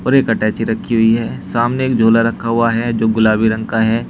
और एक अटैची रखी हुई है सामने एक झोला रखा हुआ है जो गुलाबी रंग का है।